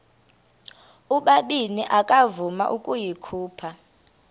ubabini akavuma ukuyikhupha